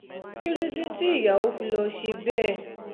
kí ló dé tí ìyàwó fi lọ́ọ́ ṣe bẹ́ẹ̀